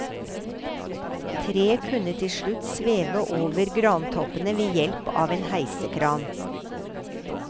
Treet kunne til slutt sveve over grantoppene ved hjelp av en heisekran.